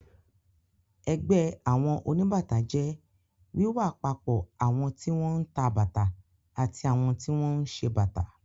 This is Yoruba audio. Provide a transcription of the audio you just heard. Ẹgbẹ́ àwọn oníbàtà jẹ́ wíwápapọ̀ àwọn tí wọ́n ń ta bàtà àti àwọn tí wọ́n ń ṣe bàtà.